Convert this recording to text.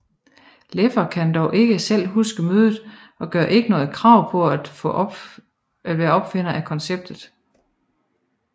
Laffer kan dog ikke selv huske mødet og gør ikke noget krav på at være opfinder af konceptet